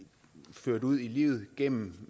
ført ud i livet gennem